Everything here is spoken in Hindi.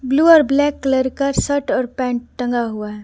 ब्लू और ब्लैक कलर का शर्ट और पेंट टंगा हुआ है ।